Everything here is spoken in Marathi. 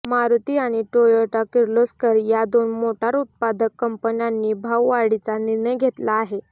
मारुती आणि टोयोटा किर्लोस्कर या दोन मोटार उत्पादक कंपन्यांनी भाववाढीचा निर्णय घेतला आहे